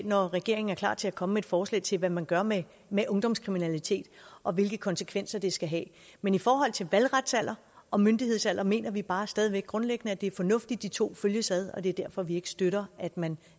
når regeringen er klar til at komme med et forslag til hvad man gør med med ungdomskriminalitet og hvilke konsekvenser det skal have men i forhold til valgretsalder og myndighedsalder mener vi bare stadig væk grundlæggende at det er fornuftigt at de to følges ad og det er derfor vi ikke støtter at man